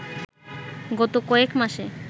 গত কয়েকমাসে